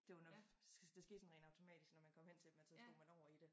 Det var nok det skete sådan rent automatisk når man kom hen til dem at så slog man over i det